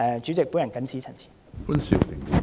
主席，我謹此陳辭。